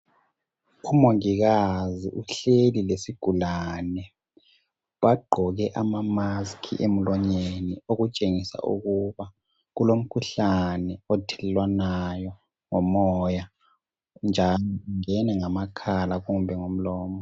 Umongikazi uhleli lesigulane, bagqoke amamaski emlonyeni, okutshengisa ukuba kulomkhuhlane othelelwanayo ngomoya njalo ungene ngamakhala kumbe ngomlomo.